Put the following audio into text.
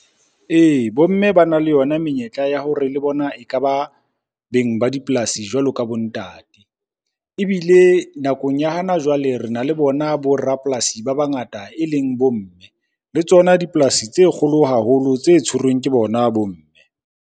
Ee, bo mme bana le yona menyetla ya hore le bona ekaba beng ba dipolasi jwalo ka bo ntate. Ebile nakong ya hana jwale re na le bona bo rapolasi ba bangata e leng bo mme. Le tsona dipolasi tse kgolo haholo tse tshwerweng ke bona bo mme.